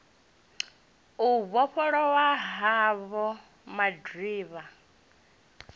u vhofhololwa ha vho madiba